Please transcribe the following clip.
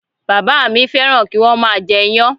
Bàbá à mí fẹ́ràn kí wọ́n má a jẹ iyán